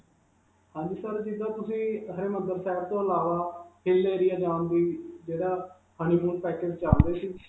ਹਾਂਜੀ sir, ਜਦੋਂ ਤੁਸੀਂ ਹਰਿਮੰਦਰ ਸਾਹਿਬ ਤੋਂ ਅਲਾਵਾ hill area ਜਾਣ honeymoon package ਚਲ ਰਹੇ ਸੀ.